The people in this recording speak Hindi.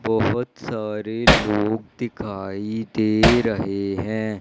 बहोत सारे लोग दिखाई दे रहे है।